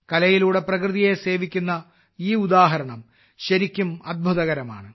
കലയിലൂടെ പ്രകൃതിയെ സേവിക്കുന്ന ഈ ഉദാഹരണം ശരിക്കും അത്ഭുതകരമാണ്